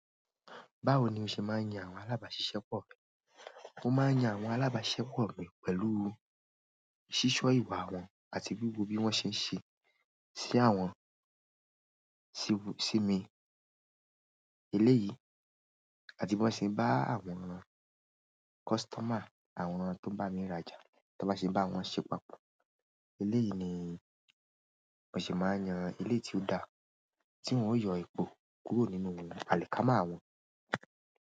Báwo ni o ṣe máa ń yan àwọn alábáṣiṣẹ́ pọ̀ rẹ? Mo máa ń yan àwọn alábáṣiṣẹ́ pọ̀ mi pẹ̀lú ṣíṣọ́ ìwà wọn àti bíbó bí wọ́n ṣe ń ṣe sí àwọn sími eléyìí àti bí wọ́n ṣe ń bá àwọn kọ́sítọ́mà àwọn tó bá mi rájà, tí wọ́n bá ṣe bá wọn ṣe papọ̀. Eléyìí ni mo ṣe máa ń yan ilé tí ó dá tí wọn yóò yọ èpò kúrò nínú àlìkámà wọn.